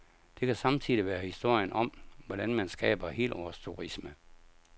Det kan samtidig være historien om, hvordan man skaber helårsturisme.